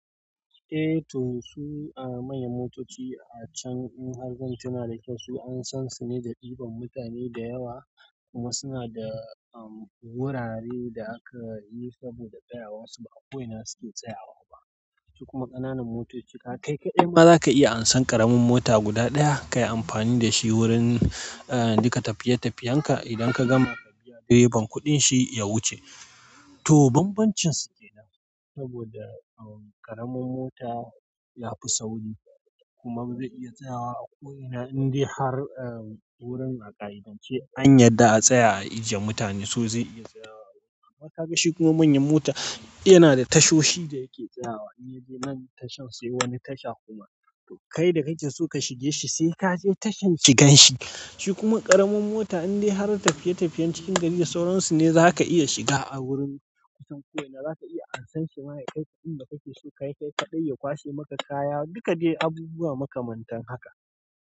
Eh to su a manyan motoci a can, in har zan tuna da kyau su an san su ne da ɗiban mutane da yawa kuma suna da am wurare da aka yi saboda tsayawar su, ba a ko ina suke tsayawa ba. Su kuma ƙananan motoci kaga kai ma za ka iya an san ƙaramin mota guda ɗaya ka yi amfani da shi wurin duka tafiye-tafiyenka idan ka gama ka biya direban kuɗin shi ya wuce. To bambancinsu ke nan saboda ƙaramin mota ya fi sauri kuma zai iya tsayawa a ko ina, in dai har am. Wurin a ƙa'idance an yarda a tsaya a ajiye mutane so zai iya tsayawa a wurin, amma ka ga shi kuma manyan mota yana da tashoshi da yake tsayawa, in ya je nan tashan sai wani tasha kuma to. Kai da kake so ka shige shi sai ka je tashar shigan shi. Shi kuma ƙaramin mota in dai har tafiye-tafiyen cikin gari sauran su ne za ka iya shiga a wurin kusan ko ina za ka iya an san shi ma ya kai ta inda kake so ka kai kai ɗaya ya kwashe maka kaya duka dai abubuwa makamantan haka.